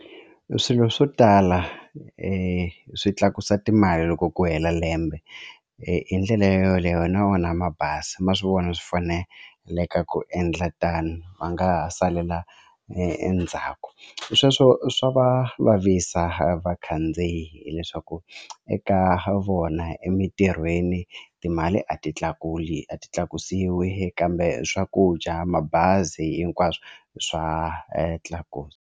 Swilo swo tala swi tlakusa timali loko ku hela lembe hi ndlela yoleyo hina wona mabazi ma swi vona swi faneleke ku endla tano va nga ha salela endzhaku sweswo swa va vavisa vakhandziyi hileswaku eka vona emitirhweni timali a ti tlakuli a ti tlakusiwi kambe swakudya mabazi hinkwaswo swa .